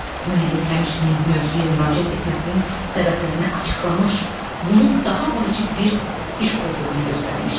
Müəllif həmçinin bu mövzuya müraciət etməsinin səbəblərini açıqlamış, bunun daha vacib bir iş olduğunu göstərmişdi.